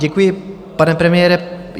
Děkuji, pane premiére.